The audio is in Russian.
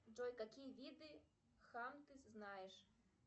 джой какие виды хан ты знаешь